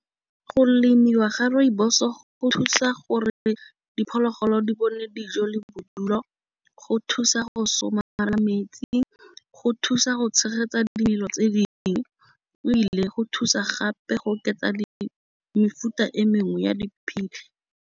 Go lemiwa ga rooibos go thusa gore diphologolo di bone dijo le bodulo. Go thusa go go somarela metsi. Go thusa go tshegetsa dimelo tse dingwe ebile go thusa gape go oketsa di mefuta e mengwe ya .